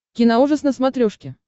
киноужас на смотрешке